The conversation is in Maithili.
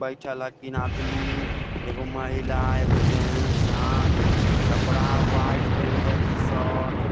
बैठएल हेय तीन आदमी एगो महिला एगो जेंट्स हाँ कपड़ा व्हाइट पीनलिखिन्ह शर्ट --